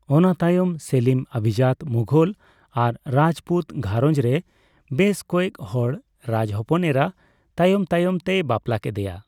ᱚᱱᱟ ᱛᱟᱭᱚᱢ, ᱥᱮᱞᱤᱢ ᱚᱵᱷᱤᱡᱟᱛᱚ ᱢᱩᱜᱷᱳᱞ ᱟᱨ ᱨᱟᱡᱯᱩᱛ ᱜᱷᱟᱸᱨᱚᱡᱽ ᱨᱮ ᱵᱮᱥ ᱠᱚᱭᱮᱠᱦᱚᱲ ᱨᱟᱡᱽᱦᱚᱯᱚᱱ ᱮᱨᱟ ᱛᱟᱭᱚᱢ ᱛᱟᱭᱚᱢ ᱛᱮᱭ ᱵᱟᱯᱞᱟ ᱠᱮᱫᱮᱭᱟ ᱾